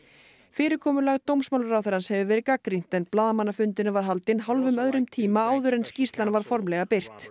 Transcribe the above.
fyrirkomulag dómsmálaráðherrans hefur verið gagnrýnt en blaðamannafundurinn var haldin hálfum öðrum tíma áður en skýrslan var formlega birt